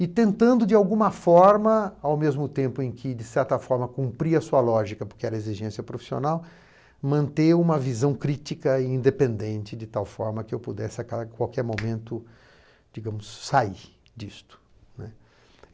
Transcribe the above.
E tentando, de alguma forma, ao mesmo tempo em que, de certa forma, cumpria a sua lógica, porque era exigência profissional, manter uma visão crítica e independente, de tal forma que eu pudesse a qualquer momento, digamos, sair disto, né.